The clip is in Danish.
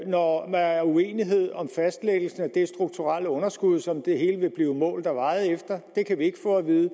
når der er uenighed om fastlæggelsen af det strukturelle underskud som det hele vil blive målt og vejet efter det kan vi ikke få at vide